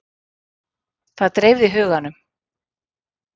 Það dreifði huganum.